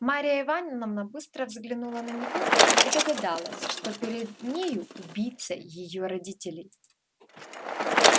марья ивановна быстро взглянула на него и догадалась что перед нею убийца её родителей